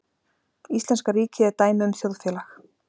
Íslenska ríkið er dæmi um þjóðfélag.